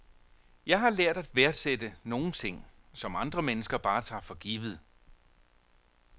Jeg har lært at værdsætte nogle ting, som andre mennesker bare tager for givet.